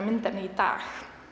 myndefni í dag